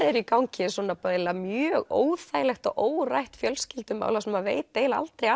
er í gangi eiginlega mjög óþægilegt og órætt fjölskyldumál þar sem maður veit eiginlega aldrei